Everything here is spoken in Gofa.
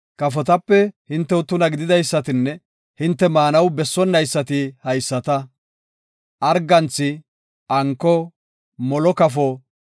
“Kafotape hintew tuna gididaysatinne hinte maanaw bessonnaysati haysata; arganthi, anko, molo kafo,